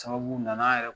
Sababu nana yɛrɛ